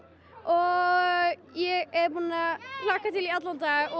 og ég er búin að hlakka til í allan dag